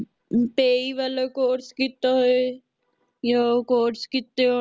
ਤੇਈ ਵਾਲਾਂ course ਕਿੱਤਾ ਹੋਏ ਯਾ ਓਹ course ਕੀਤੇ ਹੋਣ